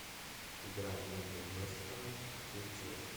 игра между вест хэмом и челси